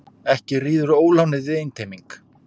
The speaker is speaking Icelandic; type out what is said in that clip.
Ekki ríður ólánið við einteyming.